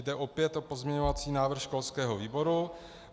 Jde opět o pozměňovací návrh školského výboru.